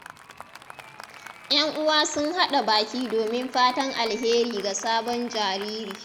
‘Yan uwa sun haɗa baki domin fatan alheri ga sabon jariri.